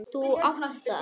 Þú átt það.